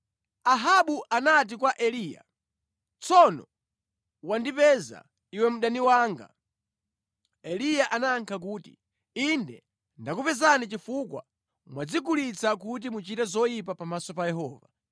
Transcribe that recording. Ahabu anati kwa Eliya, “Tsono wandipeza, iwe mdani wanga!” Eliya anayankha kuti, “Inde ndakupezani chifukwa mwadzigulitsa kuti muchite zoyipa pamaso pa Yehova.